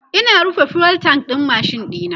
Ina rufe fuel tank ɗin machine ɗina